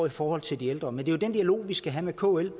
i forhold til de ældre med det er jo den dialog vi skal have med kl